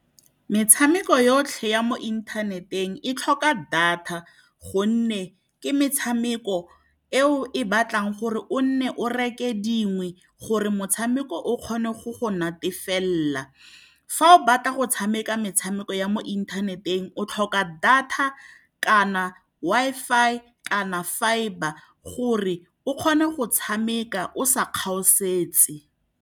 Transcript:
Metshameko yotlhe ya mo inthaneteng e tlhoka data, gonne ke metshameko eo e batlang gore o nne o reke dingwe gore motshameko o kgone go go natefelela. Fa o batla go tshameka metshameko ya mo inthaneteng, o tlhoka data kana Wi-Fi, kana fibre, gore o kgone go tshameka o sa kgaosetse.